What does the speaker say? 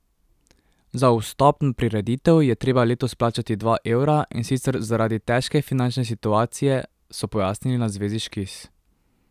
Za vstop na prireditev je treba letos plačati dva evra, in sicer zaradi težke finančne situacije, so pojasnili na Zvezi Škis.